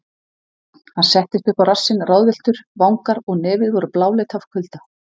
Hann settist upp á rassinn ráðvilltur, vangar og nefið voru bláleit af kulda.